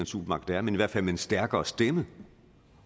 supermagt er men i hvert fald noget med en stærkere stemme